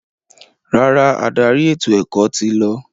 Rárá, adarí ètò-ẹ̀kọ́ ti lọ.